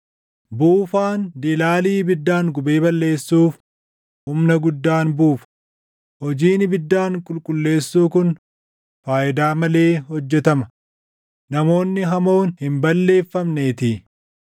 Buufaan dilaalii ibiddaan gubee balleessuuf humna guddaan buufa; hojiin ibiddaan qulqulleessuu kun faayidaa malee hojjetama; namoonni hamoon hin balleeffamneetii.